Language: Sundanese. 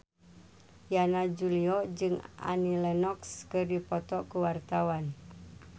Yana Julio jeung Annie Lenox keur dipoto ku wartawan